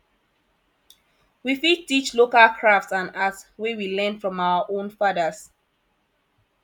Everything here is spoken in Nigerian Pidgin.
we fit teach local craft and art wey we learn from our own fathers